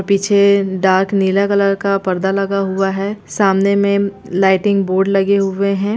पीछे डार्क नीले कलर का पर्दा लगा हुआ है सामने लाइटिंग बोर्ड लगे हुए हैं।